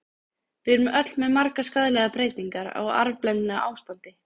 Við erum öll með margar skaðlegar breytingar, á arfblendnu ástandi.